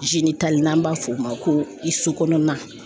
n'an b'a f'o ma ko i so kɔnɔna.